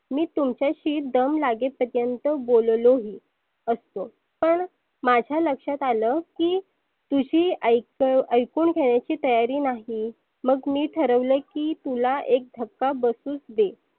मी तुमच्याशी दम लागे पर्यंत बोललो ही असतो. पण माझ्या लक्षात आलं की तुझी ऐ ऐकुन घेण्याची तयारी नाही. मग मी ठरवलं की तुला एक धक्का बसुच दे.